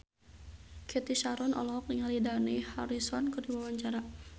Cathy Sharon olohok ningali Dani Harrison keur diwawancara